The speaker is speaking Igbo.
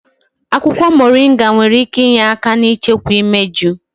Akwukwo Moringa nwere ike inye aka n'ichekwa imeju.